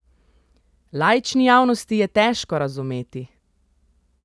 Laični javnosti je težko razumeti.